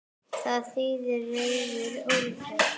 Það þýðir reiður úlfur.